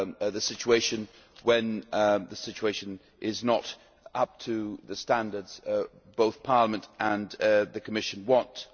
the situation when the situation is not up to the standards both Parliament and the Commission want.